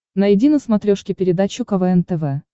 найди на смотрешке передачу квн тв